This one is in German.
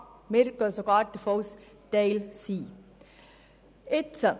Wir gehen sogar davon aus, dass sie Teil des sozialen Lebens sein sollten.